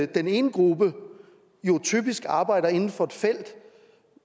den ene gruppe jo typisk arbejder inden for et felt